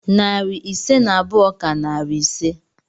Narị ise na abụọ ka narị ise.